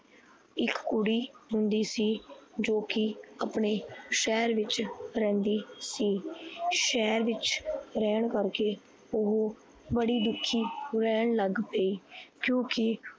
ਇੱਕ ਕੁੜੀ ਹੁੰਦੀ ਸੀ। ਜੋ ਕੀ ਆਪਣੇ ਸਹਿਰ ਵਿੱਚ ਰਹਿੰਦੀ ਸੀ। ਸਹਿਰ ਵਿੱਚ ਰਿਹਣ ਕਰਕੇ ਓਹੋ ਬੜੀ ਦੁਖੀ ਰਿਹਣ ਲੱਗ ਪਈ ਕਿਉਕਿ